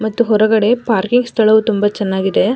ಮತ್ತು ಹೊರಗಡೆ ಪಾರ್ಕಿಂಗ್ ಸ್ಥಳವು ತುಂಬ ಚೆನ್ನಾಗಿದೆ.